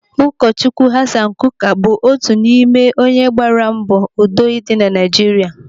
Ụkọ Chukwu Hassan Kuka otu n'ime gbaara mbọ udo dị na Naijiria.